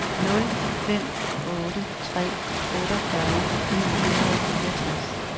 nul fem otte tre otteogfyrre ni hundrede og fireogtres